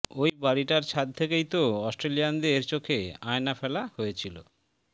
ওই বাড়িটার ছাদ থেকেই তো অস্ট্রেলিয়ানদের চোখে আয়না ফেলা হয়েছিল